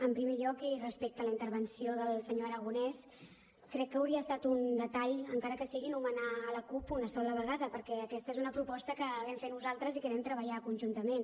en primer lloc i respecte a la intervenció del senyor aragonès crec que hauria estat un detall encara que sigui anomenar la cup una sola vegada perquè aquesta és una proposta que vam fer nosaltres i que vam treballar conjuntament